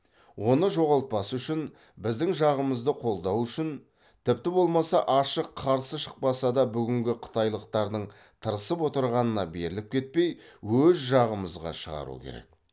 оны жоғалтпас үшін біздің жағымызды қолдау үшін тіпті болмаса ашық қарсы шықпаса да бүгінгі қытайлықтардың тырысып отырғанына беріліп кетпей өз жағымызға шығару керек